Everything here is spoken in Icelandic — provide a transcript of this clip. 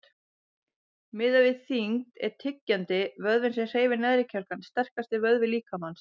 Miðað við þyngd er tyggjandi, vöðvinn sem hreyfir neðri kjálkann, sterkasti vöðvi líkamans.